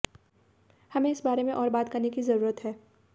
हमें इस बारे में और बात करने की जरूरत है